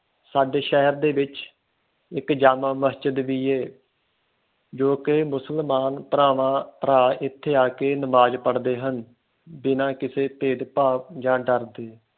ਸਾਡੇ ਸ਼ਹਿਰ ਦੇ ਵਿਚ ਇਕ ਜਾਮਾ ਮਸ਼ਜਿਦ ਵੀ ਏ ਜੋ ਕਿ ਮੁਸਲਮਾਨ ਭਰਾਵਾਂ ਭਰਾ ਇਥੇ ਆ ਕੇ ਨਮਾਜ਼ ਪੜ੍ਹਦੇ ਹਨ ਬਿਨਾ ਇਸੇ ਭੇਦ ਭਾਵ ਜਾ ਡਰ ਦੇ